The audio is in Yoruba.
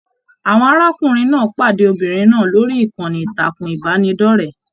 Àwọn arákùnrin náà pàdé Obìnrin náà lórí ìkànnì ìtàkùn ìbánidọ̀rẹ̀.